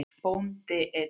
Bóndi einn.